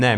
Ne.